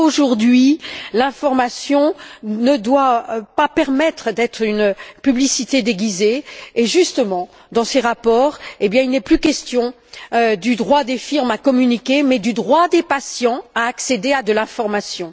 Or, aujourd'hui, l'information ne doit pas permettre d'être une publicité déguisée et justement, dans ces rapports, il n'est plus question du droit des firmes à communiquer mais du droit des patients à accéder à l'information.